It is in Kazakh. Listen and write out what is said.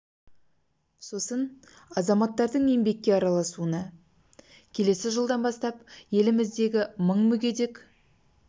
сосын азаматтардың еңбекке араласуына өзін-өзі жұмыспен қамтуына баса назар аударылады келесі жылдан бастап еліміздегі мың мүгедек